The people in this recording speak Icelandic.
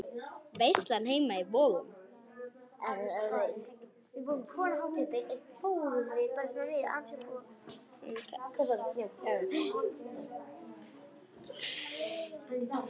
Veislan heima í Vogum.